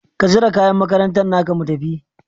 Ka zira kayan makarantan naka mu tafi